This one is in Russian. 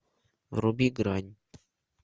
вруби грань